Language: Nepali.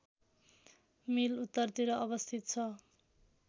मिल उत्तरतिर अवस्थित छ